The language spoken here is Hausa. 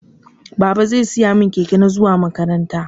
Baba zai siya mun keke na zuwa makaranta.